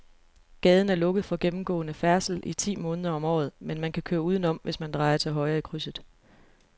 Gaden er lukket for gennemgående færdsel ti måneder om året, men man kan køre udenom, hvis man drejer til højre i krydset.